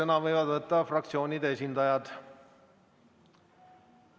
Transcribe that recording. Sõna võivad võtta fraktsioonide esindajad.